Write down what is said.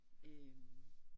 Øh